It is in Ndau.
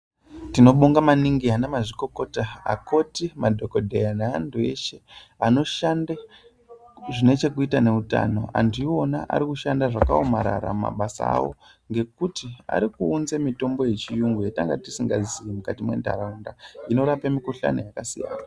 Tinobonga maningi vanamazvikokota , vakoti, madhokodheya nevantu veshe vanoshande zvine chekuita ngeutano, antu aona arikushanda zvakaomarara mumabasa avo ngekuti arikuunze mitombo yechiyungu yatanga tisingaziyi mukati muntaraunda inorape mukuhlani yakasiyana.